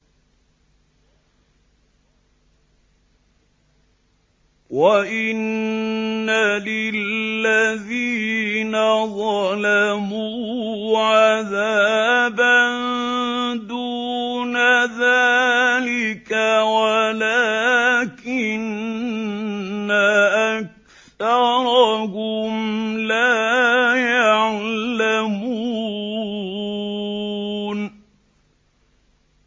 وَإِنَّ لِلَّذِينَ ظَلَمُوا عَذَابًا دُونَ ذَٰلِكَ وَلَٰكِنَّ أَكْثَرَهُمْ لَا يَعْلَمُونَ